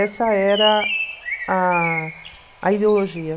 Essa era a a ideologia.